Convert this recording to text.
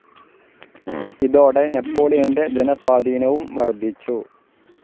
ഇതോടെ നെപോളിയന്റെ ജനസ്വാധീനവും വർദ്ധിച്ചു.